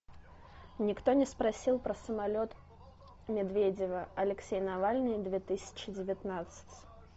никто не спросил про самолет медведева алексей навальный две тысячи девятнадцать